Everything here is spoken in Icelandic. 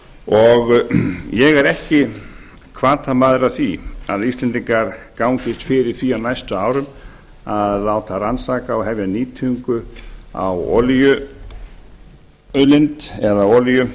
og ég er ekki hvatamaður að því að íslendingar gangist fyrir því á næstu árum að láta rannsaka og hefja nýtingu á olíuauðlind eða olíu